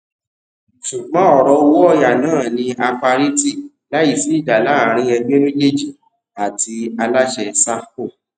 ṣùgbọ́n ọrọ owó ọyà náà ní a parí tí láì sí ìjà láàrín ẹgbẹ méjèèjì àti aláṣẹ sahco